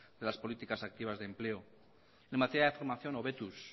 de las políticas activas de empleo en materia de formación hobetuz